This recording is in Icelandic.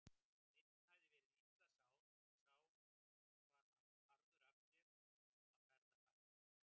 Einn hafði verið illa sár en sá var harður af sér og snemma ferðafær.